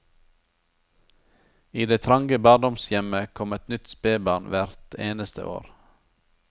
I det trange barndomshjemmet kom et nytt spebarn hvert eneste år.